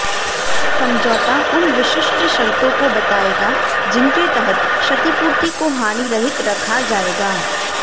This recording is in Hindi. समझौता उन विशिष्ट शर्तों को बताएगा जिनके तहत क्षतिपूर्ति को हानिरहित रखा जाएगा